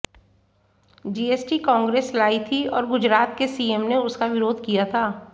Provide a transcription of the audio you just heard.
GST Congress लायी थी और गुजरात के सीएम ने उसका विरोध किया था